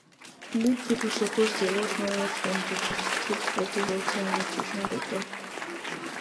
big people suppose dey watch how much dem dey chop to keep body healthy and nutrition better